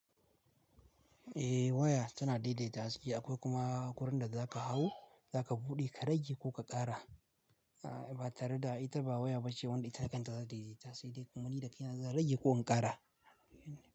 Eh waya tana daidaita haske akwai kuma kurar da za ka hau, za ka buɗe ka rage ko ka ƙara. A ba tare da ita ba waya ba ce wadda ita kanta za ta daidaita, sai dai kumanni da ke nan za rage ko in ƙara.